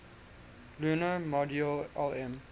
lunar module lm